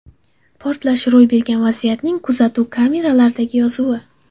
Portlash ro‘y bergan vaziyatning kuzatuv kameralaridagi yozuvi.